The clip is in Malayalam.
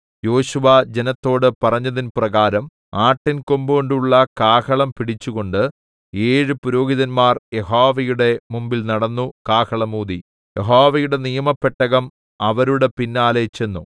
യോശുവ ജനത്തോട് പറഞ്ഞതിൻ പ്രകാരം ആട്ടിൻ കൊമ്പുകൊണ്ടുള്ള കാഹളം പിടിച്ചുകൊണ്ട് ഏഴ് പുരോഹിതന്മാർ യഹോവയുടെ മുമ്പിൽ നടന്നു കാഹളം ഊതി യഹോവയുടെ നിയമപ്പെട്ടകം അവരുടെ പിന്നാലെ ചെന്നു